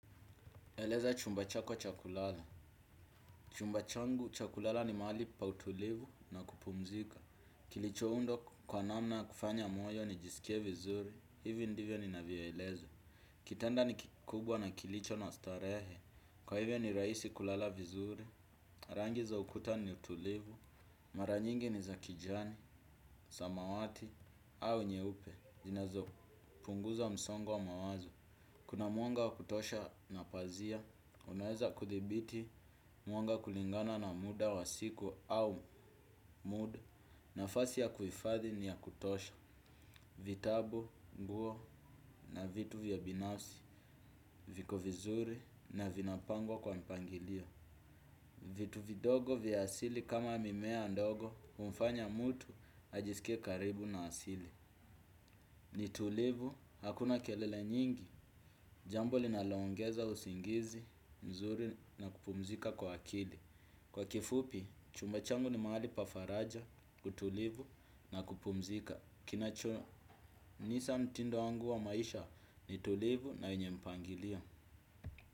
Eleza chumbachako chakulala. Chumbachangu chakulala ni mahali pautulivu na kupumzika. Kilicho undwa kwa namna kufanya moyo ni jisike vizuri. Hivi ndivyo ni navyoeleza. Kitanda ni kikubwa na kilicho na starehe. Kwa hivyo ni rahisi kulala vizuri. Rangi za ukuta ni tulivu. Maranyingi ni za kijani, sa mawati, au nyeupe zinazo punguza msongowa mawazo. Kuna mwangawa kutosha napazia. Unaweza kuthibiti mwanga kulingana na muda wa siku au mood na fasi ya kuhifadhi ni ya kutosha. Vitabu, nguo na vitu vya binafsi, viko vizuri na vinapangwa kwa mpangilio. Vitu vidogo vya asili kama mimea ndogo, humfanya mtu ajisike karibu na asili. Nitulivu, hakuna kelele nyingi, jambo li naloongeza usingizi, mzuri na kupumzika kwa akili. Kwa kifupi, chumba changu ni mahali pafaraja, utulivu na kupumzika. Kinacho nisa mtindo wangu wa maisha ni tulivu na yenye mpangilio.